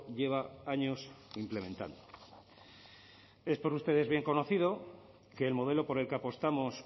lleva años implementando es por ustedes bien conocido que el modelo por el que apostamos